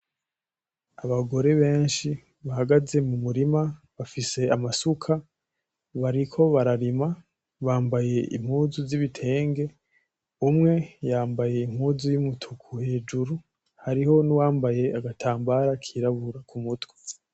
Abagore benshi bahagaze mu murima, bafise amasuka, bariko bararima, bambaye impuzu z'ibitenge, umwe yambaye impuzu y'umutuku hejuru; hariho n'uwambaye agatambara kirabura ku mutwe.